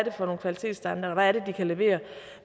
er for nogle kvalitetsstandarder hvad det vi kan levere